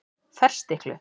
Ferstiklu